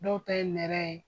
Dɔw ta ye nɛrɛ ye.